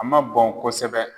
A ma bɔn kosɛbɛ